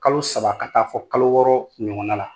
Kalo saba ka taa fɔ kalo wɔɔrɔ ɲɔgɔn la